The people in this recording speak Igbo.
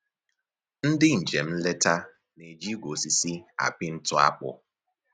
Ndị njem nleta na-eji igwe osisi apị ntụ akpụ